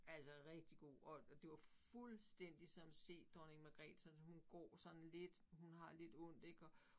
Altså rigtig god og og det var fuldstændig som se Dronning Magrethe sådan som hun går sådan lidt hun har lidt ondt ik og